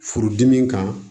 Furudimi kan